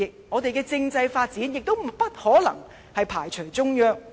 我們的政制發展亦不可能排除中央。